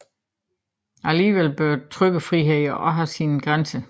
Dog bør trykkefriheden også have sin grænse